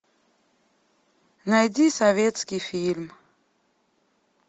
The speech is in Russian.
найди советский фильм